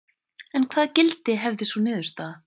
En hvaða gildi hefði sú niðurstaða?